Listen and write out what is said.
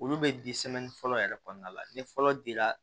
Olu bɛ fɔlɔ yɛrɛ kɔnɔna la ni fɔlɔ dira